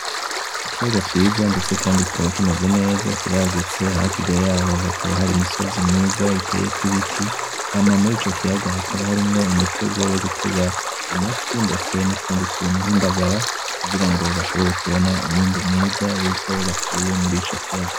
Ikiyaga ciza ndetse kandi kikaba kimeze neza hakurya yaho hakaba hari imisozi myiza iteyekw’ibiti, hama murico kiyaga hakaba harimwo imitego yo gutega amafi, ndetse n’utundi tuntu nk’indagara kugira ngo bashobore kubona umwimbu mwiza w’ivyo bakuye murico kiyaga.